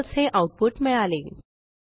फळसे हे आऊटपुट मिळाले